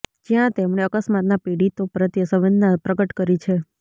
જ્યાં તેમણે અકસ્માતના પીડિતો પ્રત્યે સંવેદના પ્રકટ કરી છે